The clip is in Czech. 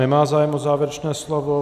Nemá zájem o závěrečné slovo.